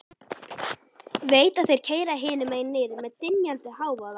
Veit að þeir keyra hinum megin niður með dynjandi hávaða.